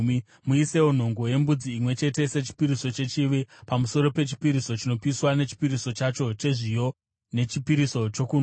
Muisewo nhongo yembudzi imwe chete sechipiriso chechivi, pamusoro pechipiriso chinopiswa nechipiriso chacho chezviyo nechipiriso chokunwa.